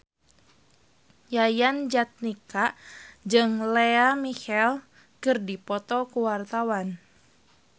Yayan Jatnika jeung Lea Michele keur dipoto ku wartawan